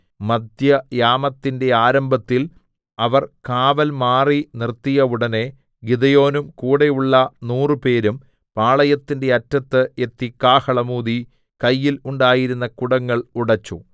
മദ്ധ്യയാമത്തിന്റെ ആരംഭത്തിൽ അവർ കാവൽ മാറി നിർത്തിയ ഉടനെ ഗിദെയോനും കൂടെയുള്ള നൂറുപേരും പാളയത്തിന്റെ അറ്റത്ത് എത്തി കാഹളം ഊതി കയ്യിൽ ഉണ്ടായിരുന്ന കുടങ്ങൾ ഉടെച്ചു